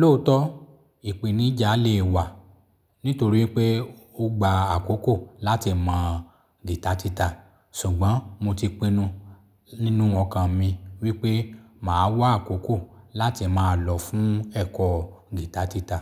Lóòótọ́, ìpèníjà le wà nítorí pé ó gba àkókò láti mọ̀ guitar títà, ṣùgbọ́n mo ti pinnu nínú ọkàn mi wípé màá wá àkókò láti máa lọ fún ẹ̀kọ́ guitar títà.